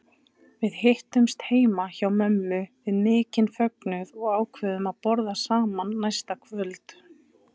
Við hittumst heima hjá mömmu við mikinn fögnuð og ákváðum að borða saman næsta kvöld.